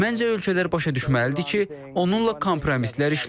Məncə ölkələr başa düşməlidir ki, onunla kompromislər işləmir.